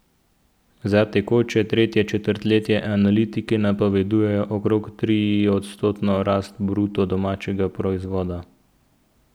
Za tekoče tretje četrtletje analitiki napovedujejo okrog triodstotno rast bruto domačega proizvoda.